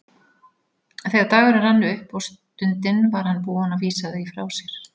Þegar dagurinn rann upp og stundin var hann búinn að vísa því frá sér.